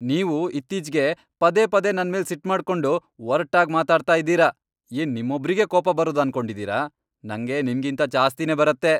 ನೀವು ಇತ್ತೀಚ್ಗೆ ಪದೇ ಪದೇ ನನ್ಮೇಲ್ ಸಿಟ್ಮಾಡ್ಕೊಂಡು, ಒರ್ಟಾಗ್ ಮಾತಾಡ್ತಾ ಇದೀರ. ಏನ್ ನಿಮ್ಮೊಬ್ರಿಗೆ ಕೋಪ ಬರೋದು ಅನ್ಕೊಂಡಿದೀರ?! ನಂಗೆ ನಿಮ್ಗಿಂತ ಜಾಸ್ತಿನೇ ಬರತ್ತೆ!